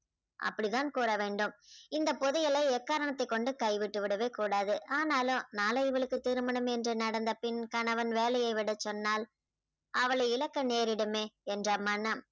அப்படிதான் கூற வேண்டும். இந்த புதையலை எக்காரணத்தை கொண்டும் கைவிட்டுவிடவே கூடாது. ஆனாலும் நாளை இவளுக்கு திருமணம் என்று நடந்த பின் கணவன் வேலையை விடச்சொன்னால் அவளை இழக்க நேரிடுமே என்ற மனம்